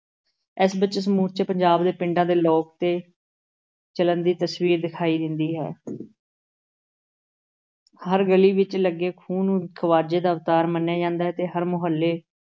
ਇਸ ਵਿੱਚੋਂ ਸਮੁੱਚੇ ਪੰਜਾਬ ਦੇ ਪਿੰਡਾਂ ਦੇ ਲੋਕ ਦੇ ਚਲਨ ਦੀ ਤਸਵੀਰ ਦਿਖਾਈ ਦਿੰਦੀ ਹੈ ਹਰ ਗਲੀ ਵਿਚ ਲੱਗੇ ਖੂਹ ਨੂੰ ਖ਼ਵਾਜੇ ਦਾ ਅਵਤਾਰ ਮੰਨਿਆ ਜਾਂਦਾ ਹੈ ਤੇ ਹਰ ਮੁਹੱਲੇ